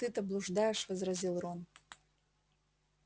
ты-то блуждаешь возразил рон